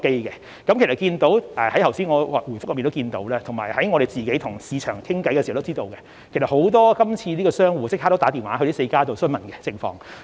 大家從我剛才的答覆中也可看到——以及在我們與市場溝通時也知道——其實今次很多商戶已立即致電該4家營辦商詢問詳情。